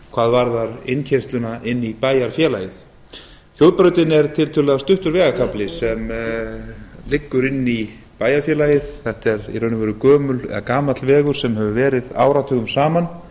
hvað varðar innkeyrsluna inn í bæjarfélagið þjóðbrautin er tiltölulega stuttur vegarkafli sem liggur inn í bæjarfélagið þetta er í raun og veru gamall vegur sem hefur verið áratugum saman